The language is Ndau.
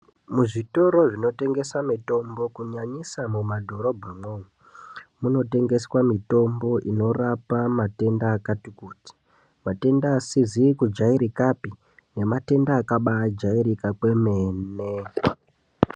Muzvitoro zvinotengesa mitombo kunyanyisa mumadhorobhamwo, munotengeswa mitombo inorapa matenda akatikuti. Matenda asizi kujairikapi, nematenda akabaajairika kwemene.